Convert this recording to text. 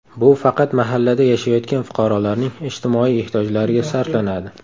Bu faqat mahallada yashayotgan fuqarolarning ijtimoiy ehtiyojlariga sarflanadi.